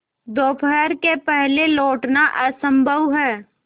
दोपहर के पहले लौटना असंभव है